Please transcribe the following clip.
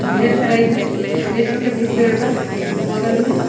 ढेर सारा इधर छोटे छोटे भी पेड़ बा बगल में।